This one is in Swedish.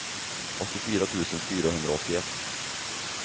åttiofyra tusen fyrahundraåttioett